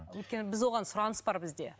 өйткені біз оған сұраныс бар бізде